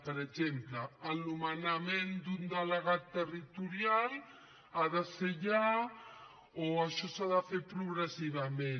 per exemple el nomenament d’un delegat territorial ha de ser ja o això s’ha de fer progressivament